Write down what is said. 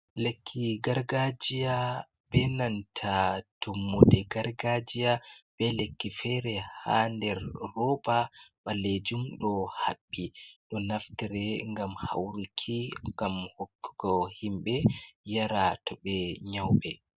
Lekki gargajiya be nanta tummude gargajiya, be lekki fere ha nder rooba ɓaleejum ɗo haɓɓi. Ɗo naftire ngam hauruki, ngam hokkugo himɓe yara to ɓe nyauɓe.